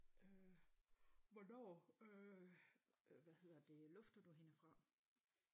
Øh hvornår øh øh hvad hedder det lufter du hende fra